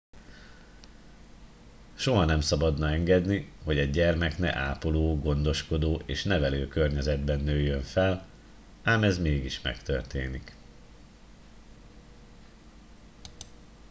soha nem szabadna engedni hogy egy gyermek ne ápoló gondoskodó és nevelő környezetben nőjön fel ám ez mégis megtörténik